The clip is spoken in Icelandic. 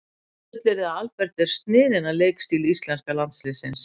Ég fullyrði að Albert er sniðinn að leikstíl íslenska landsliðsins.